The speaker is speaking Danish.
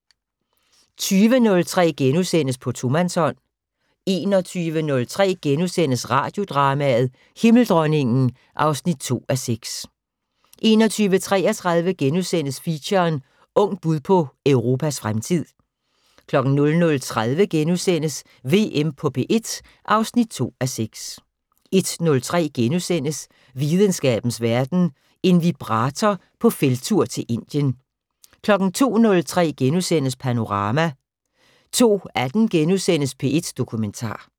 20:03: På tomandshånd * 21:03: Radiodrama: Himmeldronningen (2:6)* 21:33: Feature: Ungt bud på Europas fremtid * 00:30: VM på P1 (2:6)* 01:03: Videnskabens Verden: En vibrator på felttur til Indien * 02:03: Panorama * 02:18: P1 Dokumentar *